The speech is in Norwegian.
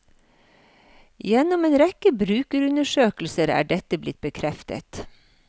Gjennom en rekke brukerundersøkelser er dette blitt bekreftet.